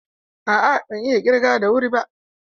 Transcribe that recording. A'a, ban iya ƙirga da wuri ba.